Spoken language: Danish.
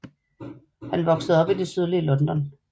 Han voksede op i det sydlige London